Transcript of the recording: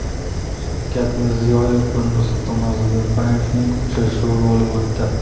Shavkat Mirziyoyev va Nursulton Nazarboyevning uchrashuvi bo‘lib o‘tdi.